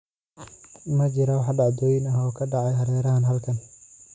Ma jiraan wax dhacdooyin ah oo ka dhacaya hareeraha halkan?